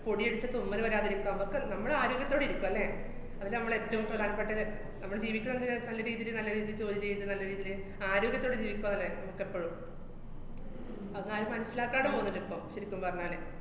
പൊടിയടിച്ചാ തുമ്മല് വരാതിരിക്ക്വാ മ്മക്ക്, നമ്മള് ആരോഗ്യത്തോടെ ഇരിക്ക്വാ, ല്ലേ, അതില്ലേ നമ്മള് ഏറ്റോം പ്രധാനപ്പെട്ടത്, നമ്മള് ജീവിക്കുന്നതന്നെ നല്ല രീതീല് നല്ല രീതീല് ജോലി ചെയ്ത് നല്ല രീതീല് ആരോഗ്യത്തോടെ ജീവിക്കുക, ല്ലേ മ്മക്കെപ്പഴും. അതാരും മനസ്സിലാക്കാതെ പോവുന്ന്ണ്ട് ഇപ്പം. ശെരിക്കും പറഞ്ഞാല്.